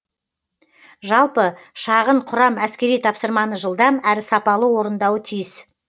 жалпы шағын құрам әскери тапсырманы жылдам әрі сапалы орындауы тиіс